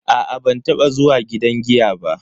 A'a ban taba zuwa gidan giya ba.